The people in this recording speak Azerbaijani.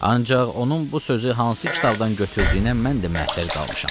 Ancaq onun bu sözü hansı kitabdan götürdüyünə mən də məhtəl qalmışam.